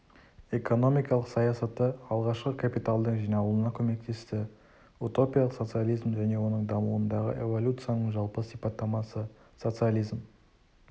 экономикалық саясаты алғашқы капиталдың жиналуына көмектесті утопиялық социализм және оның дамуындағы эволюцияның жалпы сипаттамасы социализм